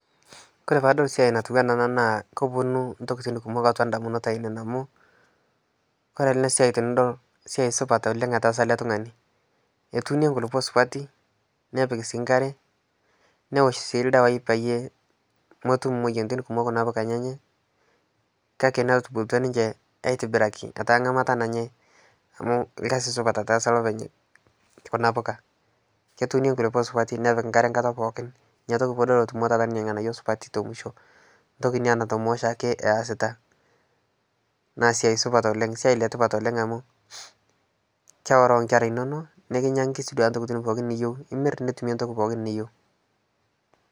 Kore paadol siai natiu enaa ena naa koponu intokitin kumok atua indamunot ainei amu kore ena siai tenidol esiai supat oleng' etaasa ele tung'ani. Etuunie nkulupok supati nepik sii nkare, nwosh sii ildawai eyie motum moyiaritin kumok kuna poka enyenyek kake natubulutua ninche aitibiraki etaa ng'amata nanyai amu irkasi supta etaasa olopeny kuna puka. Ketuunie inkulupok supati nepik nkare enkata pookin ina toki piidol etutumo taata ninye irng'anayo supati te mwisho entoki ina natomoo oshaake easita naa siai supat oleng' esiai le tipat oleng' amu keworoo inkera inonok nikinyang'aki sii duo intokitin pokin niyeu imir nitumie entoki pookin niyeu.